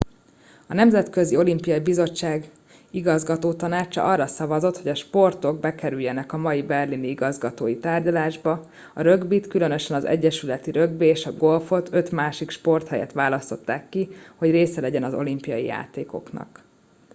a nemzetközi olimpiai bizottság igazgatótanácsa arra szavazott hogy a sportok bekerüljenek a mai berlini igazgatói tárgyalásba a rögbit különösen az egyesületi rögbi és a golfot öt másik sport helyett választották ki hogy része legyen az olimpiai játékoknak